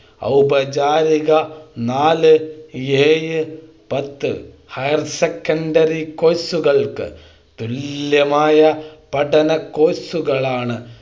ഔപചാരിക നാല് ഏഴ് പത്ത് ഹയർ സെക്കൻഡറി Course കൾക്ക് തുല്യമായ പഠന Course കളാണ്